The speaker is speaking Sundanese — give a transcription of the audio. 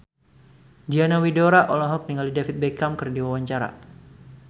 Diana Widoera olohok ningali David Beckham keur diwawancara